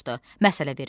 Məsələ vermişdi.